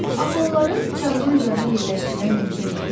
Axı onları kağızın üzərinə yerləşdirmək mümkün deyil?